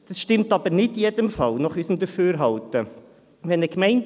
Dies stimmt aber nach unserem Dafürhalten nicht in jedem Fall.